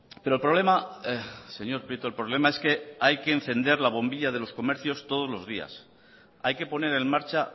pero el problema señor prieto el problema es que hay que encender la bombilla de los comercios todos los días hay que poner en marcha